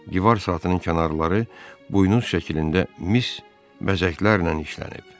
Divar saatının kənarları buynuz şəklində mis bəzəklərlə işlənib.